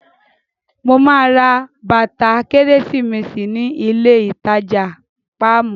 Mo máa ra bàtà kérésìmesì ní ilé ìtajà Páàmù.